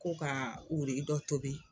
Ko ka wuruyi dɔ tobi.